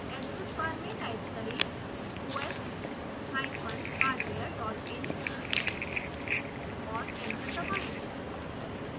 address bar में type करें: os hyphen hardware dot in और एंटर दबाएँ